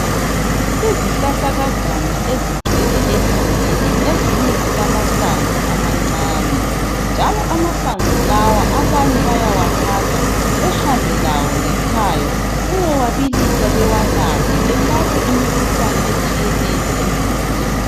Izihlahlakazana ezigcwele egangeni, ezinye zilamahlamvu amancane. Njalo amahlamvu lawa abanye bayawathatha behambe lawo ngekhaya beyewabilisa bawanathe belaphe imikhuhlane etshiyeneyo emzimbeni.